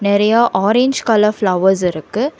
நெறையா orange colour flowers இருக்கு.